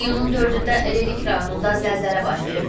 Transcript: İyunun 4-də Lerik rayonunda zəlzələ baş verib.